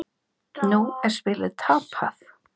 Nú er spilið tapað.